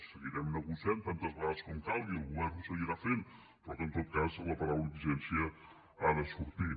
seguirem negociant tantes vegades com calgui el govern ho seguirà fent però en tot cas la paraula exigència ha de sortir